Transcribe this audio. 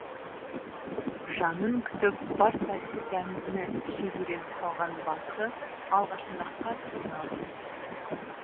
жанын күтіп бар тәтті дәмдіні жеп үйреніп қалған басы алғашында қатты қиналып жүрді